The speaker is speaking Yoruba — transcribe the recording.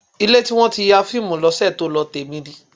Ilé tí wọ́n ti ya fíìmù lọ́sẹ̀ tó lọ, tèmi ni.